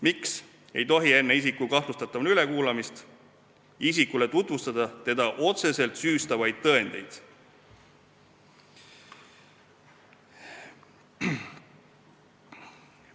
Miks ei tohi enne isiku kahtlustatavana ülekuulamist isikule tutvustada teda otseselt süüstavaid tõendeid?